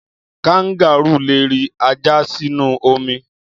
Kangárù le ri ajá sínú omi.